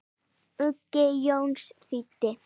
Uggi Jónsson þýddi.